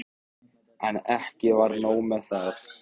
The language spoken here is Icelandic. En ekki var nóg með það.